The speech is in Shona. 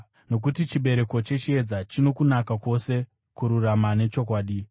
(nokuti chibereko chechiedza chino kunaka kwose, kururama nechokwadi)